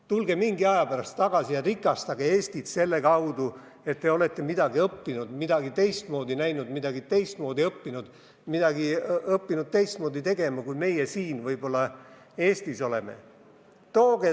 Tulge mõne aja pärast tagasi ja rikastage Eestit selle kaudu, et olete midagi õppinud, midagi teistmoodi näinud, midagi teistmoodi õppinud, õppinud midagi teistmoodi tegema, kui meie siin Eestis võib-olla oleme teinud.